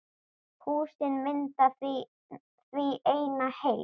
Húsin mynda því eina heild.